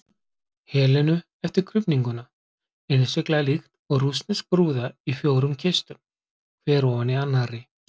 Helenu eftir krufninguna, innsiglað líkt og rússnesk brúða í fjórum kistum, hver ofan í annarri.